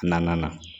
Naaninan na